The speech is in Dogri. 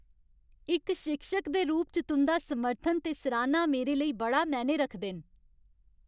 इक शिक्षक दे रूप च तुं'दा समर्थन ते सराह्ना मेरे लेई बड़ा मैह्ने रखदे न।